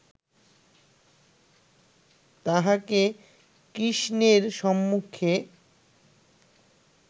তাহাকে কৃষ্ণের সম্মুখে